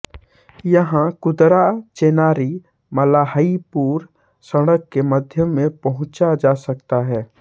यहाँ कुदराचेनारीमलाहिपुर सड़क के माध्यम से पहुंचा जा सकता है